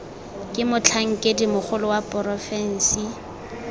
ke motlhankedi mogolo wa porofensi